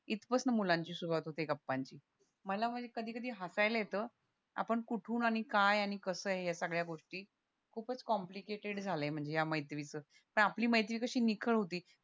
इत पासन मुलांची सुरवात होते गप्पांची मला म्हणजे कधी कधी हसायला येत आपण कुठून काय आणि कसं ये या सगळ्या गोष्टी खूपच कॉम्प्लिकेटेड झालाय म्हणजे या मैत्रीच आपली मैत्री कशी निखळ होती